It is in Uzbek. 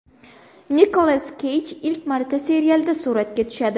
Nikolas Keyj ilk marta serialda suratga tushadi.